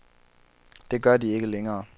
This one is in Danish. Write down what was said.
Det gør de ikke længere.